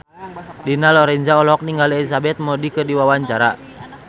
Dina Lorenza olohok ningali Elizabeth Moody keur diwawancara